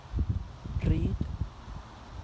Ryd